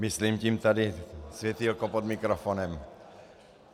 Myslím tím tady světýlko pod mikrofonem.